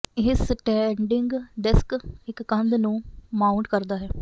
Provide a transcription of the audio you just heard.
ਇਹ standing desk ਇੱਕ ਕੰਧ ਨੂੰ ਮਾਊਟ ਕਰਦਾ ਹੈ